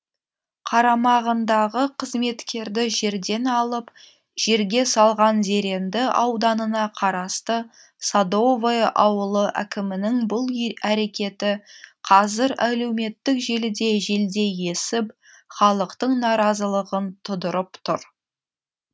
қарамағындағы қызметкерді жерден алып жерге салған зеренді ауданына қарасты садовое ауылы әкімінің бұл әрекеті қазір әлеуметтік желіде желдей есіп халықтың наразылығын тудырып тұр